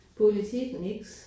Politik nix